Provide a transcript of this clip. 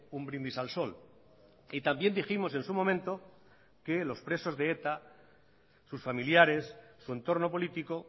un brindis al sol y también dijimos en su momento que los presos de eta sus familiares su entorno político